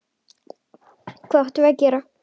Hvað áttum við að gera?